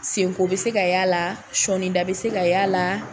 Senko bɛ se ka y' a la sɔnida bɛ se ka y' a la